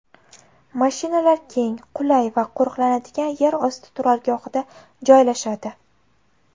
Mashinalar keng, qulay va qo‘riqlanadigan yer osti turargohida joylashadi.